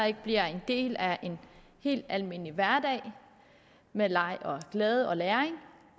ikke bliver en del af en helt almindelig hverdag med leg og glæde og læring